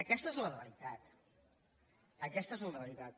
aquesta és la realitat aquesta és la realitat